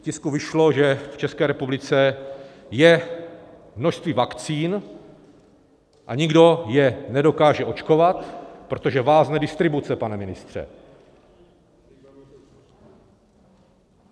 V tisku vyšlo, že v České republice je množství vakcín a nikdo je nedokáže očkovat, protože vázne distribuce, pane ministře.